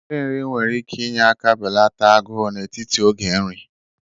Nrinri nwere ike inye aka belata agụụ n'etiti oge nri